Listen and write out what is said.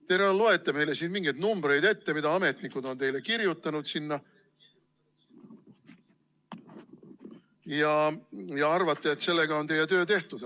Te loete meile siin mingeid numbreid ette, mida ametnikud on teile kirjutanud, ja arvate, et sellega on teie töö tehtud.